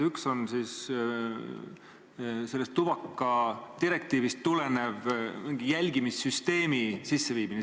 Üks on sellest tubakadirektiivist tulenev mingi jälgimissüsteemi sisseviimine.